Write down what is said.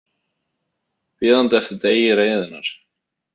Bíðandi eftir degi reiðinnar.